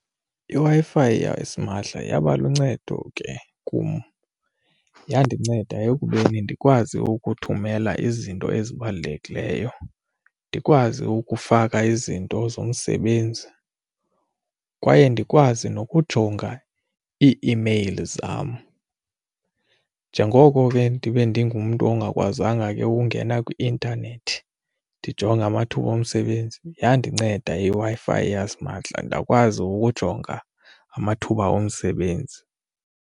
IWi-Fi yasimahla yaba luncedo ke kum, yandinceda ekubeni ndikwazi ukuthumela izinto ezibalulekileyo, ndikwazi ukufaka izinto zomsebenzi kwaye ndikwazi nokujonga i-iimeyili zam. Njengoko ke ndibe ndingumntu ongakwazanga ke ukungena kwi-intanethi ndijonge amathuba omsebenzi, yandinceda iWi-Fi yasimahla ndakwazi ukujonga amathuba omsebenzi.